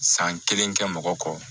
San kelen kɛ mɔgɔ kɔ